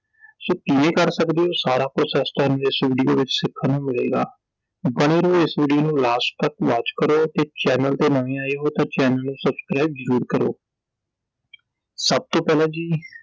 so ਕਿਵੇਂ ਕਰ ਸਕਦੇ ਹੋ? ਸਾਰਾ ਕੁਝ ਐਸ time ਇਸ ਵੀਡੀਓ ਵਿਚ ਸਿੱਖਣ ਨੂੰ ਮਿਲੇਗਾ I ਬਣੇ ਰਹੋ I ਇਸ ਵੀਡੀਓ ਨੂੰ last ਤਕ watch ਕਰੋ ਤੇ channel ਤੇ ਨਵੇਂ ਆਏ ਹੋ ਤਾਂ ਚੈਨਲ ਨੂੰ subscribe ਜ਼ਰੂਰ ਕਰੋ ਸਭ ਤੋਂ ਪਹਿਲਾਂ ਜੀ